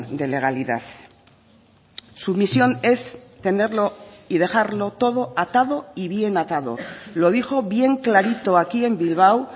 de legalidad su misión es tenerlo y dejarlo todo atado y bien atado lo dijo bien clarito aquí en bilbao